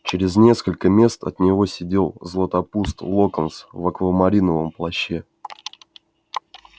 через несколько мест от него сидел златопуст локонс в аквамариновом плаще